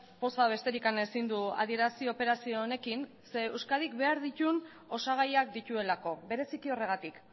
poza besterik ezin du adierazi operazio honekin ze euskadi behar ditun osagaiak dituelako bereziki horregatik